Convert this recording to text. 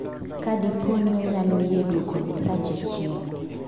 kadipo ni onyalo yie duoko misache chien